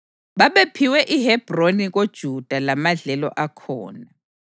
Babephiwe iHebhroni koJuda lamadlelo akhona.